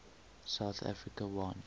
south africa won